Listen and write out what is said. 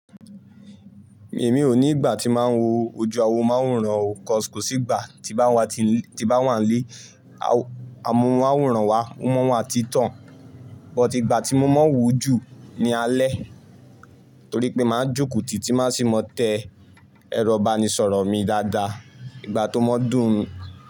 Èmi ò ní ìgbà tí máa ń wo ojú awo máworán o 'cause kọ̀sì ígbà tí n bá wà nílé. Amóhùnmáwòrán wa, ó máa n wa n ti tàn, but ìgbà tí mo máa ń wò ó jù ní alẹ́ torí pé máa ń jòkó tì tí máa sì máa tẹ ẹrọ ìbánisọ̀rọ̀ mi dáadáa ìgbà tó mọ dún.